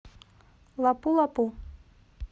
лапу лапу